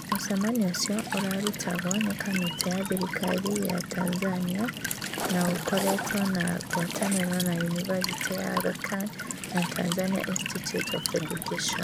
Mũcemanio ũcio ũrarutagwo nĩ kamĩtĩ ya thirikari ya Tanzania, na ũkoretwo na ngwatanĩro na Yunibathĩtĩ ya Aga Khan na Tanzania Institute of Education.